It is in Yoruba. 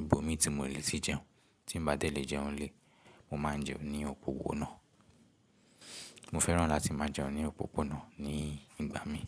ibo mi tí mò le ti jẹun, tí ń bá dé lè jẹun lè, mo máa jẹun ní òpópónà. Mo fẹ́ràn láti máa jẹun ní òpópónà ní ìgbà mí.